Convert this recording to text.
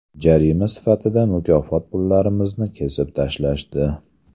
Jarima sifatida mukofot pullarimizni kesib tashlashdi.